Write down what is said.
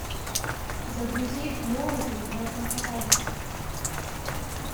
загрузи молоты над наковальней